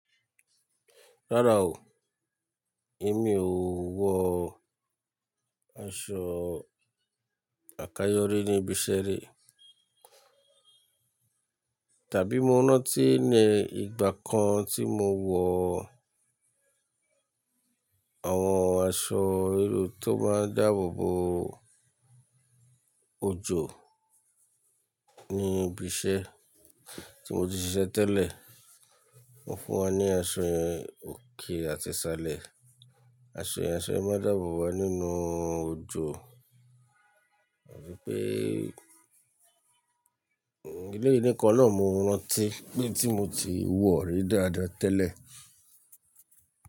Rárá o, èmi ò wọ aṣọ àkayọ́rí níbi iṣẹ́ rí. Tàbí mo rántí ní ìgbà kan tí mo wọ̀ àwọn aṣọ irú eyi tó máa ń dáàbò bo ojò ní ibi iṣẹ́ tí mo tin ṣiṣẹ́ tẹ́lẹ̀. Wan fún wa ní aṣọ ye, òkè àti ṣálẹ̀, aṣọ yen má dàabòbo wa nínú ojò. A fi pé eleyii níkan náà mo rántí pé ohun tí mo ti wọ̀ rí dáadáa tẹ́lẹ̀